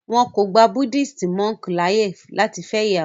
wón kò gbà Buddhist monk láàyè lati fẹ ìyàwó.